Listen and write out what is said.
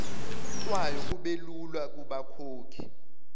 kwayo kubelula kubakhokhi